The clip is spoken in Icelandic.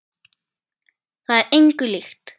Það er engu líkt.